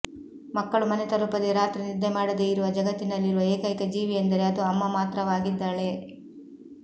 ಮಕ್ಕಳು ಮನೆ ತಲುಪದೇ ರಾತ್ರಿ ನಿದ್ದೆ ಮಾಡದೇ ಇರುವ ಜಗತ್ತಿನಲ್ಲಿರುವ ಏಕೈಕ ಜೀವಿಯೆಂದರೆ ಅದು ಅಮ್ಮ ಮಾತ್ರವಾಗಿದ್ದಾಳೆ